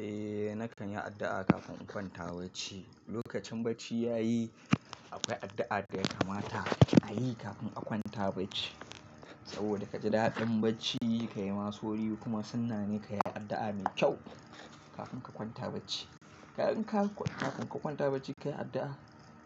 Eh, na kan yi addu'a kafin in kwanta bacci. Lokacin bacci ya yi, akwai addu'a da ya kamata a yi kafin a kwanta bacci. Saboda ka ji daɗin bacci, ka yi masu wuri kuma suna ne ka yi addu'a mai kyau kafin ka kwanta bacci. Idan ka kwanta bacci ka yi addu'a,